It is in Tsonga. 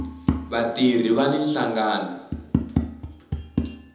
vatirhi vani nhlangano